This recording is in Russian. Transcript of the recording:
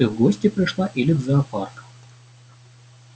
ты в гости пришла или в зоопарк